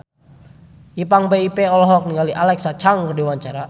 Ipank BIP olohok ningali Alexa Chung keur diwawancara